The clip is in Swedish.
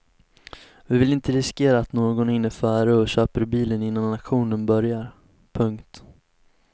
Vi vill inte riskera att någon hinner före och köper bilen innan auktionen börjar. punkt